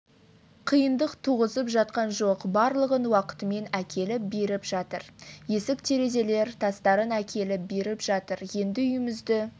қиындық туғызып жатқан жоқ барлығын уақытымен әкеліп беріп жатыр есік-терезелер тастарын әкеліп беріп жатыр енді үйімізді